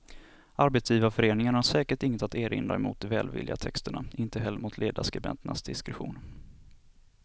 Arbetsgivarföreningen har säkert inget att erinra mot de välvilliga texterna, inte heller mot ledarskribenternas diskretion.